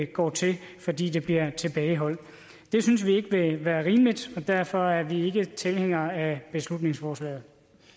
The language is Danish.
går til fordi det bliver tilbageholdt det synes vi ikke vil være rimeligt og derfor er vi ikke tilhængere af beslutningsforslaget